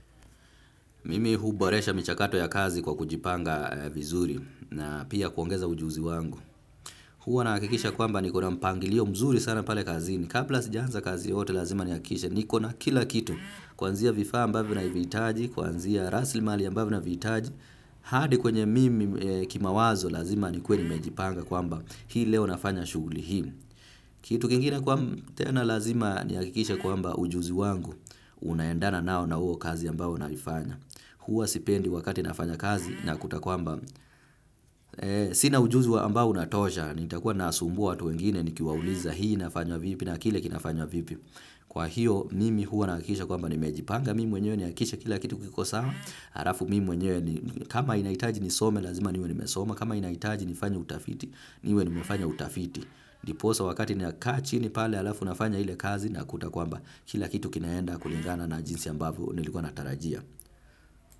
Mimi huboresha michakato ya kazi kwa kujipanga vizuri na pia kuongeza ujuzi wangu. Huwa nakikisha kwamba nikona mpangilio mzuri sana pale kazini. Kapla sijanza kazi yote lazima niyakishe nikona kila kitu. Kwanzia vifaa ambavo navitaji, kwanzia raslimali ambavo navitaji. Hadi kwenye mimi kimawazo lazima nikuwe nimejipanga kwamba hii leo nafanya shuguli hii. Kitu kingine kwa tena lazima niyakikishe kwamba ujuzi wangu. Unaendana nao na huo kazi ambao naifanya. Huwa sipendi wakati nafanya kazi nakuta kwamba sina ujuzi wa ambao unatosha. Nitakuwa nasumbua tu wengine nikiwauliza hii nafanywa vipi na kile kinafanywa vipi. Kwa hiyo nimi huwa nakisha kwamba nimejipanga mimi mwenyewe niakishe kila kitu kiko sama. Arafu mimi mwenyewe kama inaitaji nisome lazima niwe nimesoma. Kama inaitaji nifanye utafiti niwe nimefanya utafiti. Niposa wakati ninakachi ni pale alafu nafanya hile kazi na kutakwamba kila kitu kinaenda kulingana na jinsi ambavo nilikuwa natarajia.